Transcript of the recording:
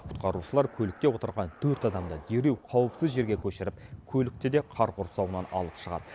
құтқарушылар көлікте отырған төрт адамды дереу қауіпсіз жерге көшіріп көлікті де қар құрсауынан алып шығады